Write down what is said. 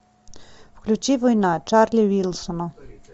включи война чарли уилсона